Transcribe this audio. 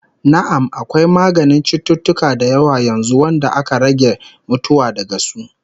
Na'am, akwai maganin cututtuka da yawa yanzu wanda aka rage mutuwa daga su